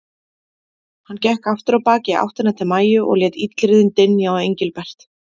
Hann gekk aftur á bak í áttina til Maju og lét illyrðin dynja á Engilbert.